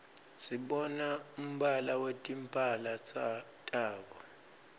sibona umbala wetimphala tabo